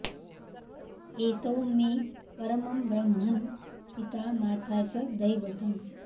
एतौ मे परमं ब्रह्मन् पिता माता च दैवतम्